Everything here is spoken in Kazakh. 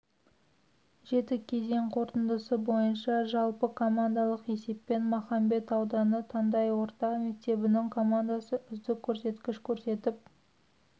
жеті кезең қорытындысы бойынша жалпы командалық есеппен махамбет ауданы таңдай орта мектебінің командасы үздік көрсеткіш көрсетіп